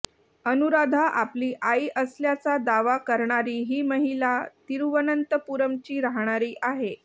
अनुराधा आपली आई असल्याचा दावा करणारी ही महिला तिरूवनंतपूरमची राहणारी आहे